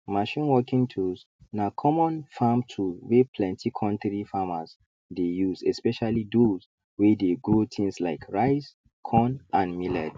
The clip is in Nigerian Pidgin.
machine working tools na common farm tool wey plenty kontri farmers dey use especially those wey dey grow things like rice corn and millet